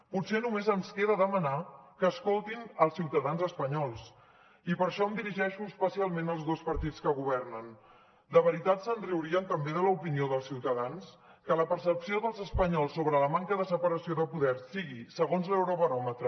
potser només ens queda demanar que escoltin els ciutadans espanyols i per això em dirigeixo especialment als dos partits que governen de veritat se’n riurien també de l’opinió dels ciutadans que la percepció dels espanyols sobre la manca de separació de poders sigui segons l’eurobaròmetre